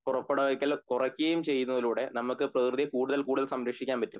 പുറപ്പെടുവിക്കൽ കുറയ്കയും ചെയ്യുന്നതിലൂടെ നമക് പ്രെകൃതി കൂടുതൽ കൂടുതൽ സംരക്ഷിക്കാൻ പറ്റും